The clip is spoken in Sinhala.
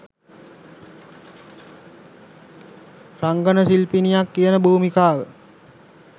රංගන ශිල්පිනියක් කියන භූමිකාව